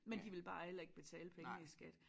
Men de vil bare heller ikke betale pengene i skat